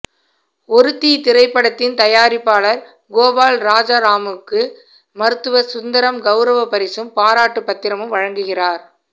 ஒருத்தி திரைப்படத்தின் தயாரிப்பாளர் கோபால் ராஜாராமுக்கு மருத்துவர் சுந்தரம் கவுரவப் பரிசும் பாராட்டுப் பத்திரமும் வழங்குகிறார்